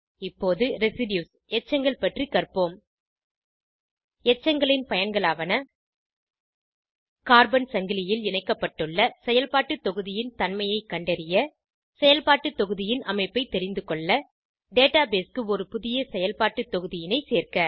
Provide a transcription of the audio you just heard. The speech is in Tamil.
இப்போது Residues எச்சங்கள் பற்றி கற்போம் எச்சங்களின் பயன்களாவன கார்பன் சங்கிலியில் இணைக்கப்பட்டுள்ள செயல்பாட்டு தொகுதியின் தன்மையை கண்டறிய செயல்பாட்டு தொகுதியின் அமைப்பை தெரிந்துகொள்ள டேட்டாபேஸ் க்கு ஒரு புதிய செயல்பாட்டு தொகுதியின் சேர்க்க